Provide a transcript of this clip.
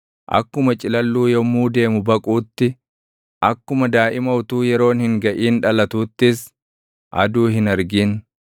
Akkuma ciilalluu yommuu deemu baquutti, akkuma daaʼima utuu yeroon hin gaʼin dhalatuuttis aduu hin argin.